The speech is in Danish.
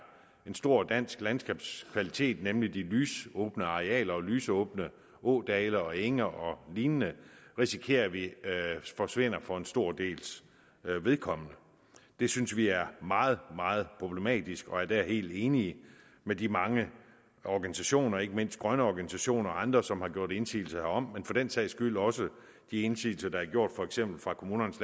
en stor dansk landskabskvalitet nemlig de lysåbne arealer og lysåbne ådale og enge og lignende risikerer vi forsvinder for en stor dels vedkommende det synes vi er meget meget problematisk og er der helt enige med de mange organisationer ikke mindst grønne organisationer og andre som har gjort indsigelser herom men for den sags skyld også de indsigelser der er gjort for eksempel fra kommunernes